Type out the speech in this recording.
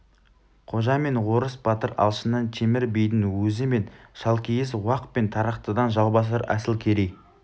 қожа мен орыс батыр алшыннан темір бидің өзі мен шалкиіз уақ пен тарақтыдан жаубасар асылкерей